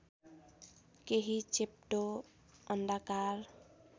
केही चेप्टो अण्डाकार